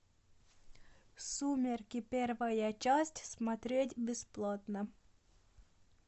сумерки первая часть смотреть бесплатно